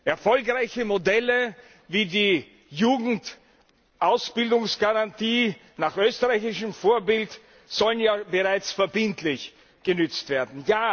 Erfolgreiche Modelle wie die Jugendausbildungsgarantie nach österreichischem Vorbild sollen ja bereits verbindlich genützt werden.